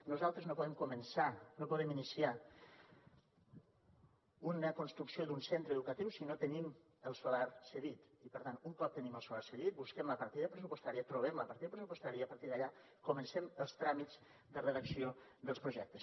nosaltres no podem començar no podem iniciar una construcció d’un centre educatiu si no tenim el solar cedit i per tant un cop tenim el solar cedit busquem la partida pressupostària trobem la partida pressupostària i a partir d’allà comencem els tràmits de redacció dels projectes